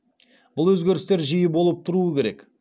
бұл өзгерістер жиі болып тұруы керек